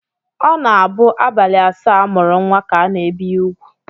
Ọ na-abụ abalị asaa a mụrụ nnwa ka a na-ebi ya úgwù